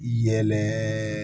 Yɛlɛ